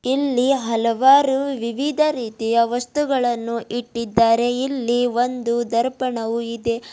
ಇಲ್ಲಿ ಹಲವಾರು ವಿವಿಧ ರೀತಿಯ ವಸ್ತುಗಳನ್ನು ಇಟ್ಟಿದ್ದಾರೆ ಇಲ್ಲಿ ಒಂದು ದರ್ಪಣವು ಇದೆ.